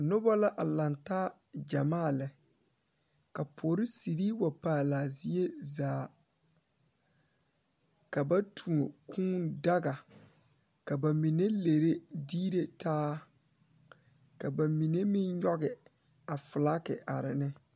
Noba la a ldŋ taa gyamaa lɛ ka polisiri wa paale a zie zaa ka ba tuo kūūdaga ka ba mine lere diire taa ka ba mine meŋ nyɔge a filagi are ne.